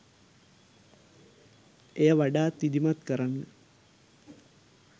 එය වඩාත් විධිමත් කරන්න